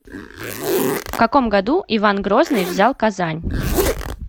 в каком году иван грозный взял казань